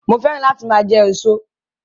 Mo féràn láti máa jẹ èso